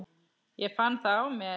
Ég fann það á mér.